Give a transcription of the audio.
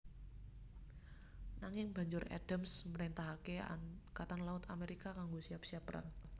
Nanging Banjur Adams mrentahake Angkatan Laut Amerika kanggo siap siap perang